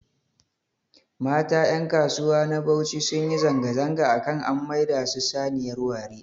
Mata ƴankasuwa na Bauchi sunyi zanga-zanga akan an maida su saniyar ware